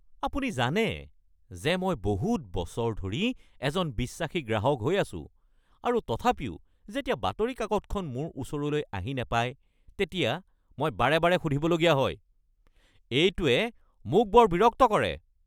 আপুনি জানে যে মই বহুত বছৰ ধৰি এজন বিশ্বাসী গ্ৰাহক হৈ আছোঁ আৰু তথাপিও যেতিয়া বাতৰি কাকতখন মোৰ ওচৰলৈ আহি নাপাই তেতিয়া মই বাৰে বাৰে সুধিবলগীয়া হয়। এইটোৱে মোক বৰ বিৰক্ত কৰে।